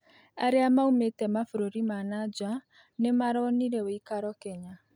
Arĩa maũmĩte mabũrũri ma na nja nĩmaronĩre woĩkaro Kenya